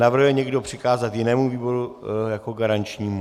Navrhuje někdo přikázat jinému výboru jako garančnímu?